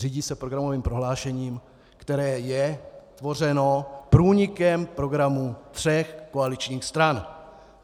Řídí se programovým prohlášením, které je tvořeno průnikem programu tří koaličních stran.